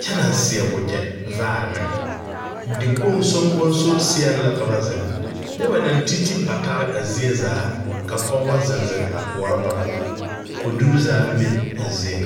kyɛ naŋ seɛ wagyɛ vaare meŋ dikpoŋ soŋkoseɛŋ la ka ba ziŋnyɛ ba naŋ titi patare a zie zaa ka pɔgebɔ ziŋziŋ a koɔrɔ ba boma koduri zaaŋ be a zie.